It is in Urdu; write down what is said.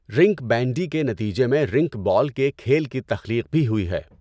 رِنک بینڈی کے نتیجے میں رِنک بال کے کھیل کی تخلیق بھی ہوئی ہے۔